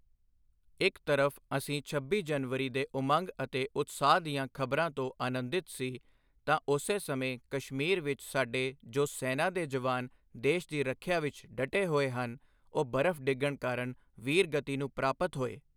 ਇੱਕ ਤਰਫ਼ ਅਸੀਂ ਸਾਰੇ ਛੱਬੀ ਜਨਵਰੀ ਦੇ ਉਮੰਗ ਅਤੇ ਉਤਸ਼ਾਹ ਦੀਆਂ ਖ਼ਬਰਾਂ ਤੋਂ ਅਨੰਦਿਤ ਸੀ ਤਾਂ ਉਸੀ ਸਮੇਂ ਕਸ਼ਮੀਰ ਵਿੱਚ ਸਾਡੇ ਜੋ ਸੈਨਾ ਦੇ ਜਵਾਨ ਦੇਸ਼ ਦੀ ਰੱਖਿਆ ਵਿੱਚ ਡਟੇ ਹੋਏ ਹਨ, ਉਹ ਬਰਫ਼ ਡਿੱਗਣ ਕਾਰਨ ਵੀਰ ਗਤੀ ਨੂੰ ਪ੍ਰਾਪਤ ਹੋਏ।